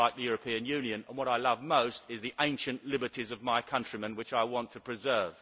I dislike the European Union and what I love most are the ancient liberties of my countrymen which I want to preserve.